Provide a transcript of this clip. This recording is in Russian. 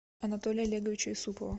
анатолия олеговича исупова